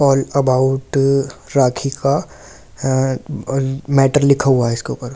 आल about Rakhi का a matter लिखा हुआ है इसके ऊपर।